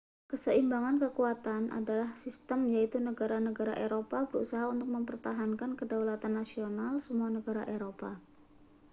keseimbangan kekuatan adalah sistem yaitu negara-negara eropa berusaha untuk mempertahankan kedaulatan nasional semua negara eropa